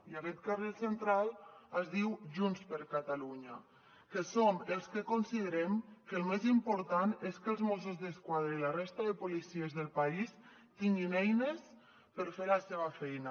i aquest carril central es diu junts per catalunya que som els que considerem que el més important és que els mossos d’esquadra i la resta de policies del país tinguin eines per fer la seva feina